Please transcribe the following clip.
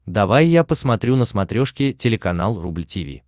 давай я посмотрю на смотрешке телеканал рубль ти ви